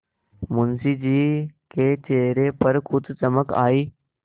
मुंशी जी के चेहरे पर कुछ चमक आई